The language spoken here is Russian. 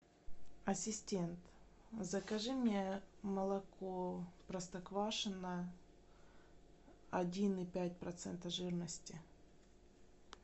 ассистент закажи мне молоко простоквашино один и пять процента жирности